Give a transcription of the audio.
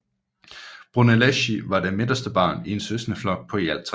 Brunelleschi var det midterste barn i en søskendeflok på i alt tre